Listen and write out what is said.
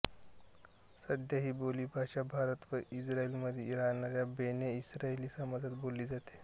सध्या ही बोलीभाषा भारत व इस्रायलमध्ये राहणाऱ्या बेने इस्रायली समाजात बोलली जाते